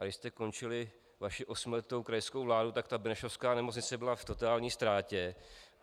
A když jste končili vaši osmiletou krajskou vládu, tak ta benešovská nemocnice byla v totální ztrátě.